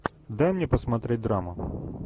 дай мне посмотреть драму